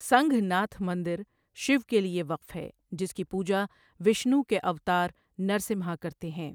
سنگھ ناتھ مندر شیو کے لیے وقف ہے جس کی پوجا وشنو کے اوتار نرسمہا کرتے ہیں۔